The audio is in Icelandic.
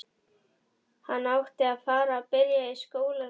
Hann átti að fara að byrja í skólanum.